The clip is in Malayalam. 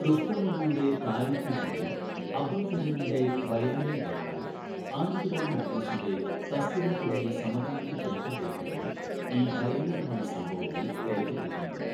റുസ്തം അലിയുടെ താരിഖെ ഹിന്ദി, അബ്ദുൾ കരീമിൻ്റെ ബയാനെ വഖായ്, ആനന്ദ് റാം മുഖ്ലിസിന്റെ തസ്കിറ തുടങ്ങിയ സമകാലിക ചരിത്രരേഖകളിൽ ഈ ഭയാനകമായ സംഭവങ്ങൾ രേഖപ്പെടുത്തിയിട്ടുണ്ട്.